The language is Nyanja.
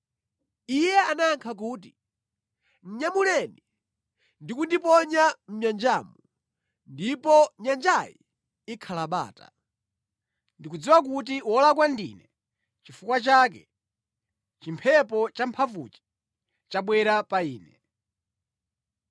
Iye anayankha kuti, “Nyamuleni ndi kundiponya mʼnyanjamu ndipo nyanjayi ikhala bata. Ndikudziwa kuti wolakwa ndine nʼchifukwa chake chimphepo champhamvuchi chabwera pa inu.”